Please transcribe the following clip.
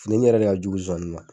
Findeni yɛrɛ de ka jugu zonzani ma.